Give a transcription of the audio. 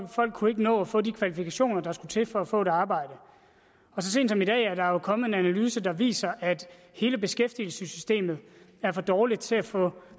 folk kunne ikke nå at få de kvalifikationer der skulle til for at få et arbejde og så sent som i dag er der jo kommet en analyse der viser at hele beskæftigelsessystemet er for dårligt til at få